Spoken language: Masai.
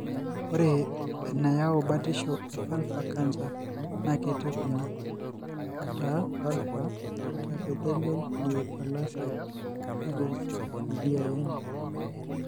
ore enayau batisho e vulvar cancer na ketii kuna:ataa vulvar intraepithelial neoplasia (VIN).